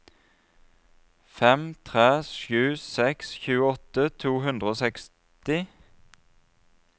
fem tre sju seks tjueåtte to hundre og seksti